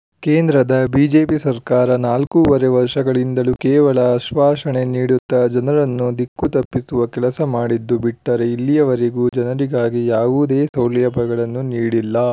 ಕೇಂದ್ರದ ಬಿಜೆಪಿ ಸರ್ಕಾರ ನಾಲ್ಕೂವರೆ ವರ್ಷಗಳಿಂದಲೂ ಕೇವಲ ಆಶ್ವಾಸನೆ ನೀಡುತ್ತಾ ಜನರನ್ನು ದಿಕ್ಕು ತಪ್ಪಿಸುವ ಕೆಲಸ ಮಾಡಿದ್ದು ಬಿಟ್ಟರೆ ಇಲ್ಲಿಯವರೆವಿಗೂ ಜನರಿಗಾಗಿ ಯಾವುದೇ ಸೌಲಭ್ಯಗಳನ್ನು ನೀಡಿಲ್ಲ